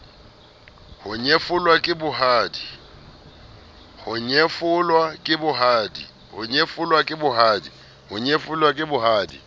ho nyefolwa ke ba bohadi